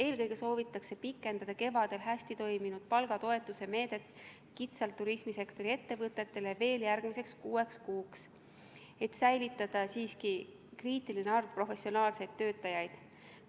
Eelkõige soovitakse pikendada kevadel hästi toiminud palgatoetuse meedet kitsalt turismisektori ettevõtetele veel järgmiseks kuueks kuuks, et säilitada siiski kriitiline arv professionaalseid töötajaid.